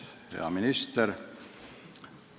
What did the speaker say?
Hea minister!